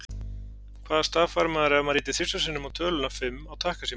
Hvaða staf fær maður ef maður ýtir þrisvar sinnum á töluna fimm á takkasíma?